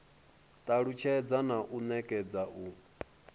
talusthedza na u nekedza u